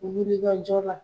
Ulu bɛ ka jɔ la.